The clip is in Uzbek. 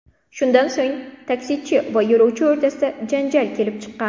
Shundan so‘ng, taksichi va yo‘lovchi o‘rtasida janjal kelib chiqqan.